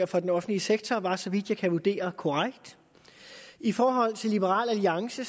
for den offentlige sektor var så vidt jeg kan vurdere korrekt i forhold til liberal alliance